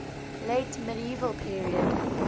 late medieval period